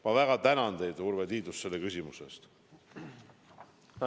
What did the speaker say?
Ma väga tänan teid, Urve Tiidus, selle küsimuse eest!